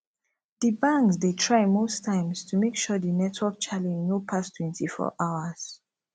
di banks dey try most times to make sure di network challenge no pass 24 hours